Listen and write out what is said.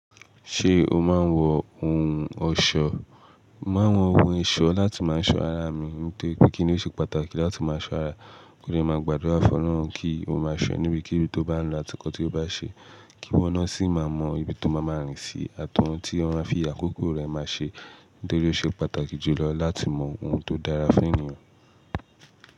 Ṣé o máa ń wọ ohun ọ̀ṣọ́? Mo máa ń wọ ohun ọ̀ṣọ́ láti máa ṣọ ara mi nítorí pé kíni ó ṣe pàtàkì láti máa ṣọ ara. Kí o máa gbádùra fun Ọlọhun kí o máa ṣọ ọ́ níbi kíni tó bá ń lọ, àti nǹkan tí ó bá n ṣe, kíwọ́ naa sì máa mọ ibi tó máa ma rìn sí àti ohun tí o máa fi àkókò rẹ̀ máa ṣe. Nítorí ó ṣe pàtàkì jùlọ láti mọ ohun tó dára fún ènìyàn.